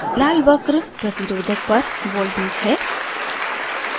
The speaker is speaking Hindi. लाल वक्र प्रतिरोधक पर voltage है